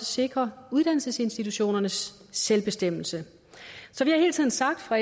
sikrer uddannelsesinstitutionernes selvbestemmelse så vi har hele tiden sagt fra